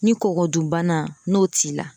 Ni kɔgɔdunbana n'o t'i la